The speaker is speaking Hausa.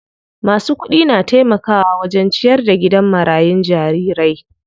Masu kudi na taimakawa wajen ciyar da gidan marayun jarirai.